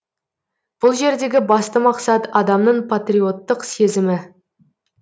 бұл жердегі басты мақсат адамның патриоттық сезімі